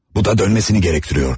Bu da dönməsini tələb edirdi.